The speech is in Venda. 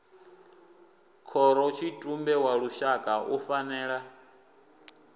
khorotshitumbe wa lushaka u fanela